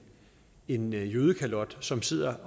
en jødekalot som sidder